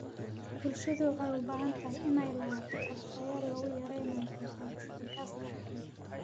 Bulshada waxay u baahan tahay inay lahaato qorshayaal lagu yareynayo soo saarista gaaska haraaga.